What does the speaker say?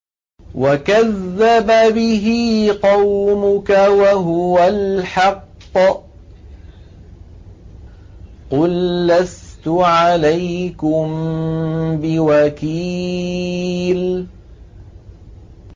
وَكَذَّبَ بِهِ قَوْمُكَ وَهُوَ الْحَقُّ ۚ قُل لَّسْتُ عَلَيْكُم بِوَكِيلٍ